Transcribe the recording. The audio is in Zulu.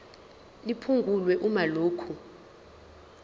liphungulwe uma lokhu